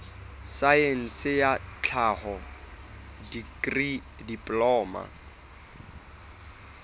saense ya tlhaho dikri diploma